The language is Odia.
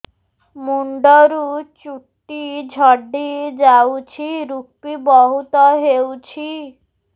ମୁଣ୍ଡରୁ ଚୁଟି ଝଡି ଯାଉଛି ଋପି ବହୁତ ହେଉଛି